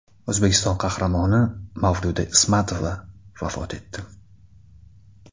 O‘zbekiston Qahramoni Mavluda Ismatova vafot etdi.